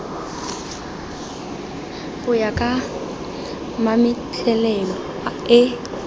go ya ka mametlelelo e